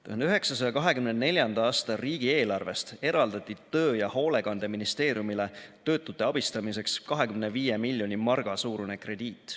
1924. aasta riigieelarvest eraldati töö- ja hoolekandeministeeriumile töötute abistamiseks 25 miljoni marga suurune krediit.